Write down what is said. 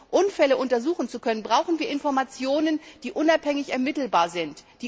Um Unfälle untersuchen zu können, brauchen wir Informationen, die unabhängig ermittelbar sind.